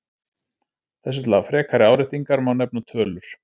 Þessu til frekari áréttingar má nefna tölur.